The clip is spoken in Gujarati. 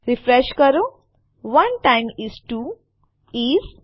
રીફ્રેશ કરો1 ટાઇમ્સ 2 ઇસ